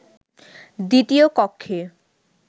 দ্বিতীয় কক্ষে